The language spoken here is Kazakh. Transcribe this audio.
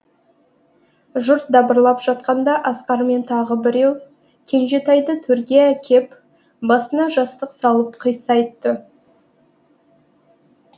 жұрт дабырлап жатқанда асқар мен тағы біреу кенжетайды төрге әкеп басына жастық салып қисайтты